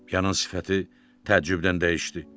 Yanın sifəti təəccübdən dəyişdi.